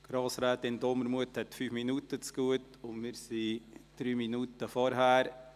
Grossrätin Dumermuth hat 5 Minuten zugute, und wir sind 3 Minuten vorher.